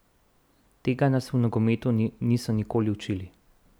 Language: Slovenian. Tega nas v nogometu niso nikoli učili.